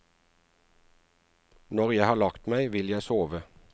Når jeg har lagt meg, vil jeg sove.